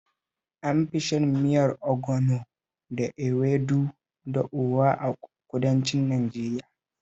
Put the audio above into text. An fi shan miyar ogbono da ewedu da oha a kudancin Najeriya